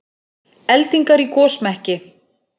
Eldingar í gosmekki